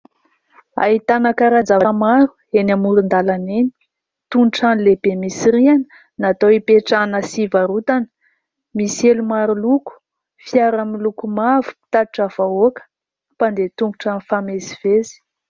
Ahitana karazan-javatra maro eny amoron-dalana eny toy ny trano lehibe misy rihana natao hipetrahana sy hivarotana, misy elo maro loko, fiara miloko mavo mpitatitra vahoaka, mpandeha tongotra mifamezivezy.